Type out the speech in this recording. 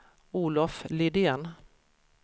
Olof Lidén